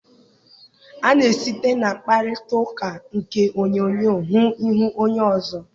A na-esite na mkparịtaụka nke onyoonyo hụ ihu onye ọzọ.